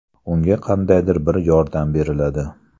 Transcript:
Unga qandaydir bir yordam beriladi.